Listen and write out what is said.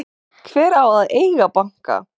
Hver á að eiga banka?